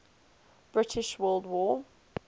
british world war